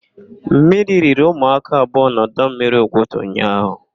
Mmiri riri ụmụaka abụọ na ọdọmmiri Ugwuta ụnyaahụ.